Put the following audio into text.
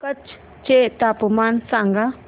कच्छ चे तापमान सांगा